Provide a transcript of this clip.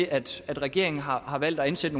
at regeringen har har valgt at ansætte